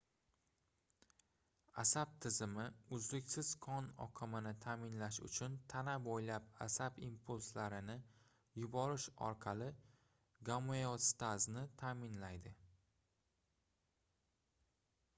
asab tizimi uzluksiz qon oqimini taʼminlash uchun tana boʻylab asab impulslarini yuborish orqali gomeostazni taʼminlaydi